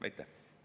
Aitäh!